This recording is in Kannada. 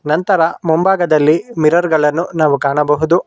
ನಂತರ ಮುಂಭಾಗದಲ್ಲಿ ಮಿರರ್ ಗಳನ್ನು ನಾವು ಕಾಣಬಹುದು.